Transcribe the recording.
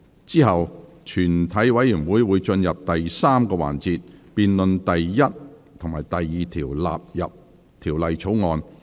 之後全體委員會會進入第3個環節，辯論第1及2條納入《條例草案》。